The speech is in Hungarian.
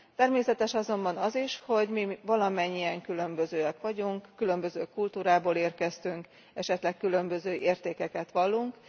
Természetes azonban az is, hogy mi valamennyien különbözőek vagyunk, különböző kultúrából érkeztünk, esetleg különböző értékeket vallunk.